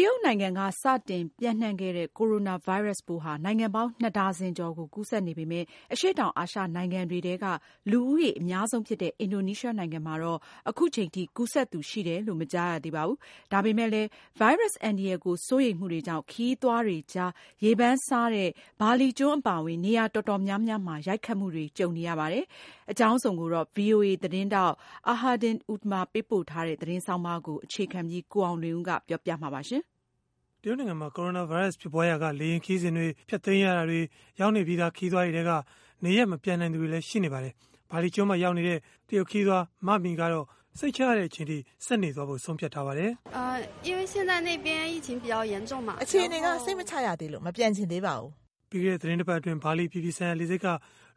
တရုတ်နိုင်ငံက စတင်ပျံ့နှံ့ခဲ့တဲ့ ကိုရိုနာဗိုင်းရပ်စ်ပိုးဟာ နိုင်ငံပေါင်း ၂ ဒါဇင်ကျော်ကို ကူးစက်နေပေမဲ့ အရှေ့တောင်အာရှ နိုင်ငံတွေထဲက လူဦးရေ အများဆုံးဖြစ်တဲ့ အင်ဒိုနီးရှားနိုင်ငံမှာတော့ အခုထိ ကူးစက်သူရှိတယ်လို့ မကြားရသေးပါဘူး။ ဒါပေမဲ့လည်း ဗိုင်းရပ်စ် အန္တရာယ်ကို စိုးရိမ်မှုတွေကြောင့် ခရီးသွားတွေကြား ရေပန်းစားတဲ့ ဘာလီကျွန်း အပါအဝင် နေရာတော်တော်များမှာ ရိုတ်ခတ်မှုတွေနဲ့ ကြုံနေရပါတယ်။ အကြောင်းစုံကိုတော့ ဗွီအိုအေ သတင်းထောက် Ahadian Utama ပေးပို့တဲ့ သတင်းဆောင်းပါးကို အခြေခံပြီး ကိုအောင်လွင်ဦးက ပြောပြပေးမှာ ဖြစ်ပါတယ်။ တရုတ်နိုင်ငံမှာ ကိုရိုနာဗိုင်းရပ်စ် ဖြစ်ပွားရာက လေယာဉ်ခရီးစဉ်တွေ ဖျက်သိမ်းရတာတွေ၊ ရောက်နေပြီးသား ခရီးသွားတွေထဲက နေရပ်မပြန်နိုင်သူတွေလည်း ရှိနေပါတယ်။ ဘာလီကျွန်းမှာ ရောက်နေတဲ့ တရုတ်ခရီးသွား Ma Mi ကတော့ စိတ်ချရတဲ့အချိန်အထိ ဆက်နေဖို့ ဆုံးဖြတ်ထားပါတယ်။ “အခြေအနေက စိတ်မချရသေးလို့ မပြန်ချင်သေးပါဘူး။” ပြီးခဲ့တဲ့ သီတင်းတစ်ပတ်အတွင်း ဘာလီ အပြည်ပြည်ဆိုင်ရာ လေဆိပ်က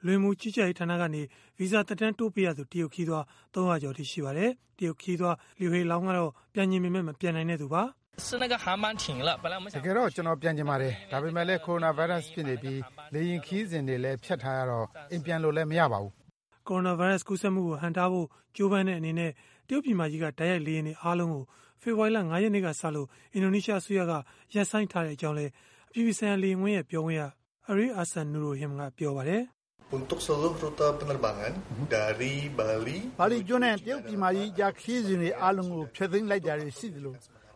လူဝင်မှုကြီးကြပ်ရေးဌာန ကနေ ဗီဇာ သက်တမ်းတိုးပေးရသူ တရုတ်ခရီးသွား ၃၀၀ ကျော်အထိရှိပါတယ်။ တရုတ်ခရီးသွား Lua Hailong ကတော့ ပြန်ချင်ပေမဲ့ မပြန်နိုင်တဲ့သူပါ။ “တကယ်တော့ ကျနော်ပြန်ချင်ပါတယ်။ ဒါပေမဲ့လည်း ကိုရိုနာဗိုင်းရပ်စ်ဖြစ်နေပြီး လေယာဉ်ခရီးစဉ်တွေလည်း ဖျက်ထားရတော့ အိမ်ပြန်လို့လည်း မရပါဘူး။” ကိုရိုနာဗိုင်းရပ်စ် ကူးစက်မှုကို ဟန့်တားဖို့ ကြိုးပမ်းတဲ့ အနေနဲ့ တရုတ်ပြည်မကြီးက တိုက်ရိုက်လေယာဉ်တွေ အားလုံးကို ဖေဖော်ဝါရီလ ၅ ရက်နေ့ကစ အင်ဒိုနီးရှားအစိုးရက ရပ်ဆိုင်းထားကြောင်းလည်း အပြည်ပြည်ဆိုင်ရာ လေယာဉ်ကွင်း ပြောခွင့်ရ Arie Ahsanurrohim ကပြောပါတယ်။ “ဘာလီကျွန်းကနေ တရုတ်ပြည်မကြီးကြား ခရီးစဉ်တွေ အားလုံးကို ဖျက်လိုက်တာတွေ ရှိသလို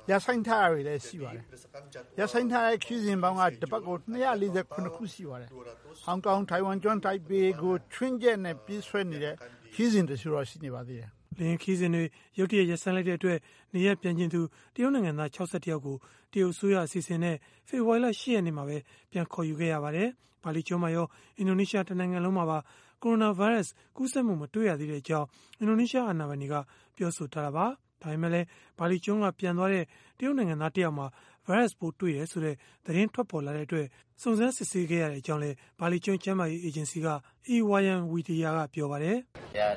ရပ်ဆိုင်းလိုက်တာတွေလည်း ရှိပါတယ်။ ရပ်ဆိုင်းထားတဲ့ ခရီးစဉ်ပေါင်းက တပတ်ကို ၂၄၇ ခုရှိပါတယ်။ ဟောင်ကောင်၊ ထိုင်ဝမ်ကျွန်း တိုင်ပေကို ခြွင်းချက်နဲ့ ပြေးဆွဲနေတဲ့ ခရီးစဉ်တချို့တော့ ရှိပါတယ်။” လေယာဉ်ခရီးစဉ်တွေ ရုတ်တရပ် ရပ်ဆိုင်းလိုက်တဲ့ အတွက် နေရပ်ပြန်ချင်သူ တရုတ်နိုင်ငံသား ၆၁ ယောက်ကို တရုတ်အစိုးရ အစီအစဉ်နဲ့ ဖေဖော်ဝါရီလ ၈ ရက်နေ့မှာပဲ ပြန်ခေါ်ယူခဲ့ပါတယ်။ ဘာလီကျွန်းမှာရော အင်ဒိုနီးရှား တနိုင်ငံလုံးမှာပါ ကိုရိုနာဗိုင်းရပ်စ် ကူးစက်မှု မတွေ့ရသေးကြောင်း အင်ဒိုနီးရှား အာဏာပိုင်တွေက ပြောဆိုထားတာပါ။ ဒါပေမဲ့လည်း ဘာလီကျွန်းက ပြန်သွားတဲ့ တရုတ်နိုင်ငံသား တယောက်မှာ ဗိုင်းရပ်စ်ပိုးတွေ့တယ် ဆိုတဲ့ သတင်း ထွက်ပေါ်လာတဲ့အတွက် စုံစမ်းစစ်ဆေးခဲ့ရကြောင်းလည်း ဘာလီကျွန်း ကျန်းမာရေး အေဂျင်စီက I Wayan Widia ကပြောပါတယ်။ “ရော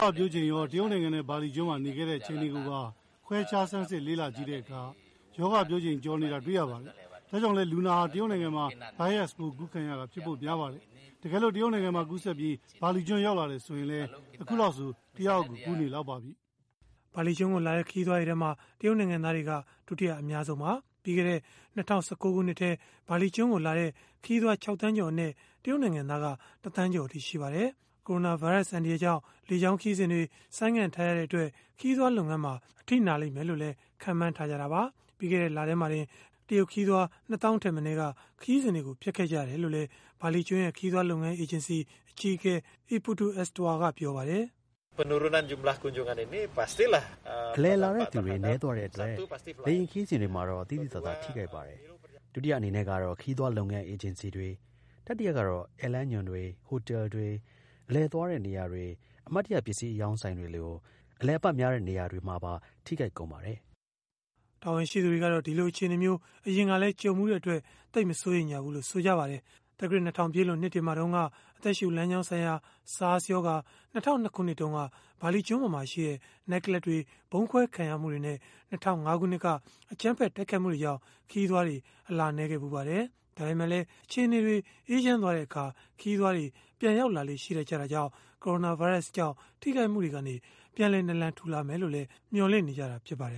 ဂါပျိုးချိန်ရော တရုတ်နိုင်ငံနဲ့ ဘာလီကျွန်းမှာ နေခဲ့တဲ့ အချိန်တွေကိုပါ ခွဲခြားဆန်းစစ် လေ့လာကြည့်တဲ့အခါ ရောဂါပျိုးချိန် ကျော်နေတာ တွေ့ရပါတယ်။ ဒါကြောင့်လည်း လူနာဟာ တရုတ်နိုင်ငံမှာ ဗိုင်းရပ်စ်ပိုးကူးခံရတာ ဖြစ်ဖို့များပါတယ်။ တကယ်လို့ တရုတ်နိုင်ငံမှာ ကူးစက်ပြီး ဘာလီကျွန်း ရောက်လာတယ် ဆိုရင်လည်း အခုလောက်ဆို တယောက်ယောက်ကို ကူးနေလောက်ပါပြီ။” ဘာလီကျွန်းကိုလာတဲ့ ခရီးသွားတွေထဲမှာ တရုတ်နိုင်ငံသားတွေက ဒုတိယအများဆုံးပါ။ ပြီးခဲ့တဲ့ ၂၀၁၉ ခုနှစ်ထဲ ဘာလီကျွန်းကိုလာတဲ့ ခရီးသွား ၆ သန်းကျော်အနက် တရုတ်နိုင်ငံသားက ၁ သန်းကျော်အထိ ရှိပါတယ်။ ကိုရိုနာဗိုင်းရပ်စ် အန္တရာယ်ကြောင့် လေကြောင်း ခရီးစဉ်တွေ ဆိုင်းငံ့ထားရတဲ့အတွက် ခရီးသွားလုပ်ငန်းမှာ အထိနာမယ်လို့လည်း ခန့်မှန်းထားကြတာပါ။ ပြီးခဲ့တဲ့လထဲမှာတင် တရုတ်ခရီးသွား ၂၀,၀၀၀ ထက်မနည်း ခရီးစဉ်တွေ ဖျက်ခဲ့ကြတယ်လို့လည်း ဘာလီကျွန်း ခရီးသွားလုပ်ငန်း အေဂျင်စီ အကြီးအကဲ I Putu Astawa ကပြောပါတယ်။ “အလည်လာတဲ့သူတွေ နည်းသွားတဲ့အတွက် လေယာဉ်ခရီးစဉ်တွေမှာတော့ သိသိသာသာ ထိခိုက်ပါတယ်။ ဒုတိယအနေနဲ့ကတော့ ခရီးသွားလုပ်ငန်း အေဂျင်စီတွေ၊ တတိယကတော့ ဧည့်လမ်းညွှန်တွေ၊ ဟိုတယ်တွေ၊ အလည်သွားတဲ့နေရာတွေ၊ အမှတ်တရပစ္စည်း အရောင်းဆိုင်တွေလို အလည်အပတ်များတဲ့ နေရာတွေမှာပါ ထိခိုက်ကုန်ပါတယ်။” တာဝန်ရှိသူတွေကတော့ ဒီလိုအခြေအနေမျိုး အရင်ကလည်း ကြုံဖူးတဲ့အတွက် သိပ်မစိုးရိမ်ဖူးလို့ ဆိုကြပါတယ်။ သက္ကရာဇ် ၂၀၀၀ ပြည့်လွန်နှစ်တွေမှာ တုန်းက အသက်ရှုလမ်းကြောင်းဆိုင်ရာ SARS ရောဂါ၊ ၂၀၀၂ ခုနှစ်တုန်းက ဘာလီကျွန်းပေါ်မှာရှိတဲ့ နိုက်ကလပ်တွေ ဗုံးခွဲခံရမှုတွေနဲ့ ၂၀၀၅ ခုနှစ်က အကြမ်းဖက် တိုက်ခိုက်မှုတွေကြောင့် ခရီးသွားတွေ အလာနည်းခဲ့ဖူးပါတယ်။ ဒါပေမဲ့လည်း အခြေအနေတွေ အေးချမ်းသွားတဲ့အခါ ခရီးသွားတွေ ပြန်ရောက်လာလေ့ ရှိတတ်တာကြောင့် ကိုရိုနာဗိုင်းရပ်စ်ကြောင့် ထိခိုက်မှုတွေကနေ ပြန်လည် နာလန်ထူလာမယ်လို့လည်း မျှော်လင့်နေကြတာ ဖြစ်ပါတယ်